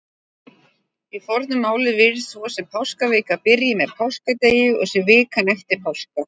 Í fornu máli virðist svo sem páskavika byrji með páskadegi og sé vikan eftir páska.